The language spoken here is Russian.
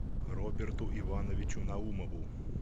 роберту ивановичу наумову